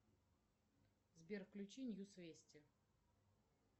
сбер включи ньюс вести